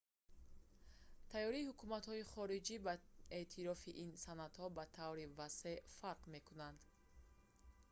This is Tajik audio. тайёрии ҳукуматҳои хориҷӣ ба эътирофи ин санадҳо ба таври васеъ фарқ мекунад